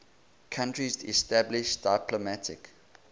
countries established diplomatic